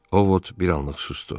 Ovod bir anlıq susdu.